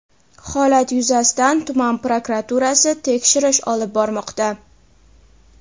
Holat yuzasidan tuman prokuraturasi tekshirish olib bormoqda.